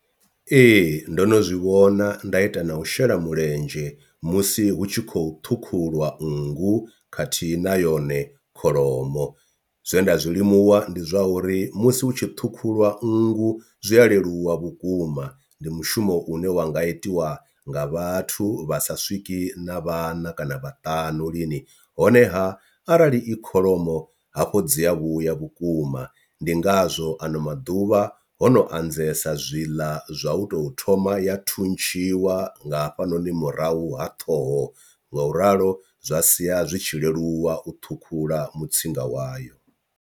Ee, ndo no zwi vhona nda ita na u shela mulenzhe musi hu tshi khou ṱhukhulwa nngu khathihi na yone kholomo, zwe nda zwilimuwa ndi zwa uri musi hu tshi ṱhukhuliwa nngu zwi a leluwa vhukuma ndi mushumo une wanga itiwa nga vhathu vhasa swiki na vhaṋa kana vhaṱanu lini. Honeha arali i kholomo hafho dzi a vhuya vhukuma ndi ngazwo ano maḓuvha vha hono anzela zwi ḽa zwa u tou thoma ya thuntshiwa nga hafhanoni murahu ha ṱhoho ngau ralo zwa sia zwi tshi leluwa u thukhula mutsinda wayo.